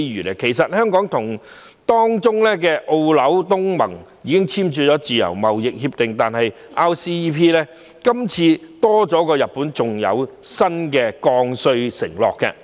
香港本身已跟成員中的澳、紐、東盟簽訂自由貿易協定，但 RCEP 今次多了日本作為成員，另有新的降稅承諾。